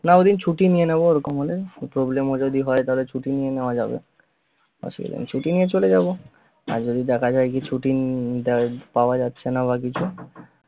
না ঐদিন ছুটি নিয়ে নেব ওরকম হলে একটু problem ও যদি হয় ছুটি নিয়ে নেয়া যাবে আসলে ছুটি নিয়ে চলে যাবো আর যদি দেখা যায় যে ছুটি~ পাওয়া যাচ্ছে না বা কিছু